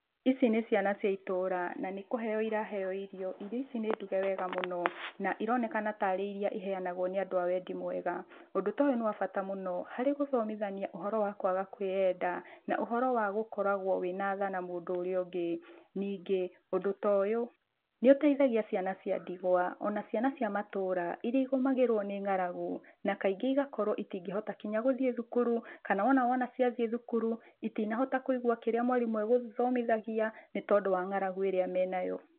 Ici nĩ ciana cia ĩtũra na nĩ kũheyo ĩraheyo irio. Irio ici nĩ nduge wega mũno na ĩronekana ta rĩ ĩria ĩheyanagwo nĩ andũ a wendi mwega. Ũndũ toyũ nĩ wa bata mũno harĩ gũthomithania ũhoro wa kwaga kwĩyenda na ũhoro wa gakoragwo wĩ na tha na mũndũ ũrĩa ũngĩ. Ningĩ ũndũ toyũ nĩ ũteithagia ciana cia ndigwa ona ciana cia matũra ĩria ĩgomagĩrwo nĩ ng'aragu na kaingĩ ĩgakorwo ĩtingĩhota nginya gũthiĩ thukuru, kana wona ciathiĩ thukuru ĩtinahota kũigua kĩrĩa mwarimũ egũthomithagia nĩ tondũ wa ng'aragu ĩria menayo.